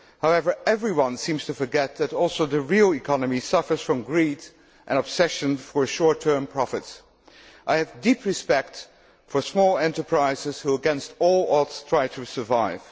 However, everyone seems to forget that the real economy also suffers from greed and an obsession with short term profits. I have deep respect for small enterprises which, against all odds, try to survive.